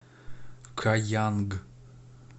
каянг